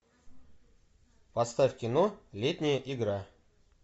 поставь кино летняя игра